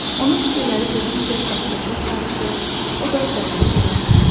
Onun fikirləri getdikcə daha da çox qarışır, o da qərara gələ bilmirdi.